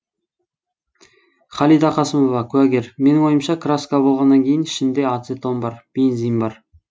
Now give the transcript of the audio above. халида қасымова куәгер менің ойымша краска болғаннан кейін ішінде ацетон бар бензин бар